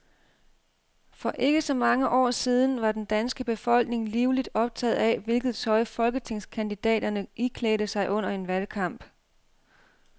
For ikke så mange år siden var den danske befolkning livligt optaget af, hvilket tøj folketingskandidaterne iklædte sig under en valgkamp.